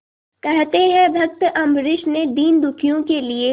कहते हैं भक्त अम्बरीश ने दीनदुखियों के लिए